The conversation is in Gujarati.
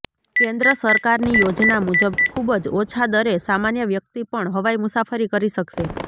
કેન્દ્ર સરકારની યોજના મુજબ ખુબ જ ઓછા દરે સામાન્ય વ્યક્તિ પણ હવાઈ મુસાફરી કરી શકશે